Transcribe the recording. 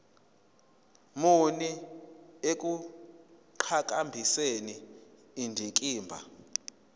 muni ekuqhakambiseni indikimba